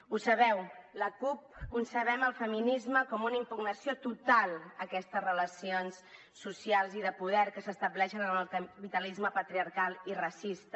ho sabeu la cup concebem el feminisme com una impugnació total a aquestes relacions socials i de poder que s’estableixen en el capitalisme patriarcal i racista